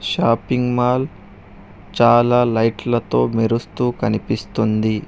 Shopping mall చాలా లైట్లతో మెరుస్తూ కనిపిస్తుంది.